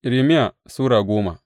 Irmiya Sura goma